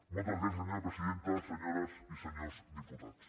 moltes gràcies senyora presidenta senyores i senyors diputats